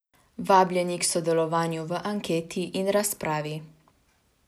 Vabljeni k sodelovanju v anketi in razpravi.